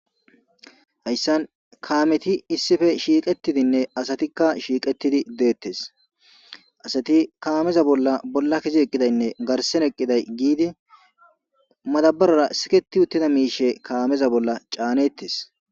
Hayssan kaameti issipe shiqqetidinne asatika shiqetidi dettes asati kaameza bolla bolla kezidi eqqidaynne garsera eqqiday gidi madabbarara siketi uttida mishsha kaameza bolla canetes.